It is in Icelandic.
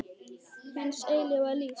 Hins eilífa lífs.